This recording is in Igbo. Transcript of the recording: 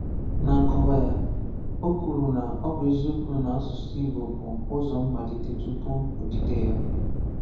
Ná nkọ́wa ya, ọ kwụrụ na “ọ bụ eziokwu na ọsụsụ asụsụ bụ ụzọ mmalite tupu odide ya.”